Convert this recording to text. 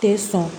Tɛ sɔn